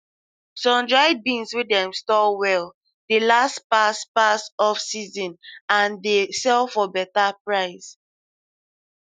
sundried beans wey dem store well dey last pass pass offseason and dey sell for better price